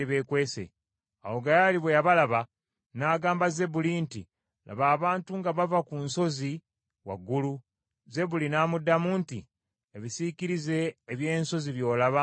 Awo Gaali bwe yabalaba, n’agamba Zebbuli nti, “Laba abantu nga bava ku nsozi waggulu!” Zebbuli n’amuddamu nti, “Ebisiikirize eby’ensozi by’olaba ng’abantu.”